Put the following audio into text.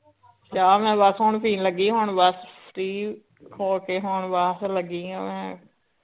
ਚਾਅ ਮੈ ਬੱਸ ਹੁਣ ਪੀਣ ਲੱਗੀ ਹੁਣ ਬਸ free ਹੋ ਕੇ ਹੁਣ ਬਸ ਲੱਗੀ ਆ ਮੈ